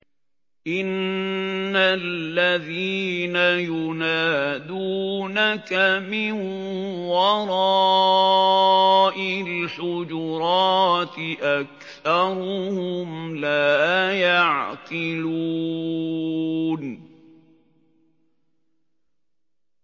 إِنَّ الَّذِينَ يُنَادُونَكَ مِن وَرَاءِ الْحُجُرَاتِ أَكْثَرُهُمْ لَا يَعْقِلُونَ